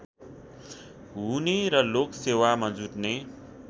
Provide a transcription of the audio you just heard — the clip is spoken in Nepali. हुने र लोकसेवामा जुट्ने